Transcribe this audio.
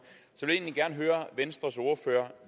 så jeg vil egentlig gerne høre venstres ordfører